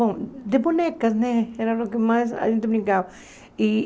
Bom, de bonecas né, era o que mais a gente brincava. E